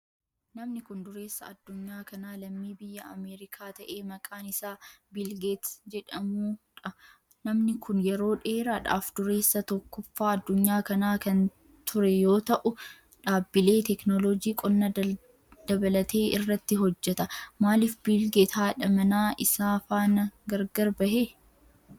Namni kun, dureessa addunyaa kanaa lammii biyya Ameerikaa ta'ee maqaan isaa Biil geet jedhamuu dha. dha. Namni kun, yeroo dheeraadhaaf dureessa tokkoffaa addunyaa kanaa kan ture yoo ta,u, dhaabbilee teeknoolooji qonna dabalatee irratti hojjata. Maalif Biil Geet haadha manaa isaa faana gar gar bahe?